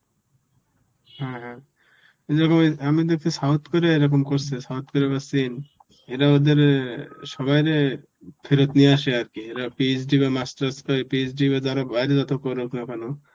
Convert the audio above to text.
হ্যাঁ হ্যাঁ আমি দেকছি south korea এরকম করসে, south korea বা Chin. এরা ওদের অ্যাঁ সবাইরে ফেরত নিয়ে আসে আর কি. এরা PhD বা masters কই~ PhD বা যারা বাইরে যত করুক না কেন,